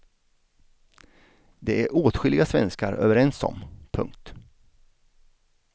Det är åtskilliga svenskar överens om. punkt